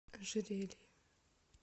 ожерелье